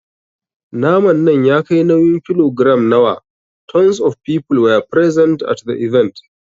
Naman nan ya kai nauyin kilogiram nawa? Tons of people were present at the event.